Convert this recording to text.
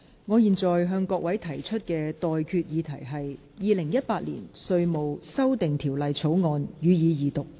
我現在向各位提出的待決議題是：《2018年稅務條例草案》，予以二讀。